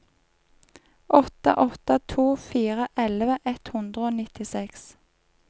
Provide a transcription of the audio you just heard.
åtte åtte to fire elleve ett hundre og nittiseks